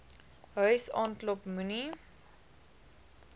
huis aanklop moenie